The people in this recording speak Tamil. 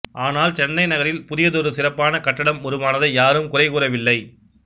ஆனால் சென்னை நகரில் புதியதொரு சிறப்பான கட்டடம் உருவானதை யாரும் குறைகூறவில்லை